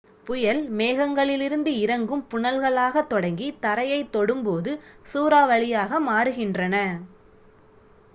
"புயல் மேகங்களிலிருந்து இறங்கும் புனல்களாகத் தொடங்கி தரையைத் தொடும்போது "சூறாவளி""யாக மாறுகின்றன.